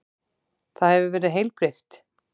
Það hefur verið heilbrigt?